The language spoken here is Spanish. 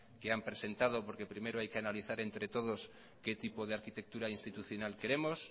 que han presentado porque primero hay que analizar entre todos qué tipo de arquitectura institucional queremos